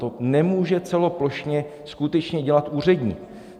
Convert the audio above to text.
To nemůže celoplošně skutečně dělat úředník.